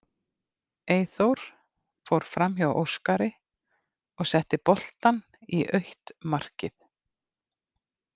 Eyþór fór framhjá Óskar og setti boltann í autt markið.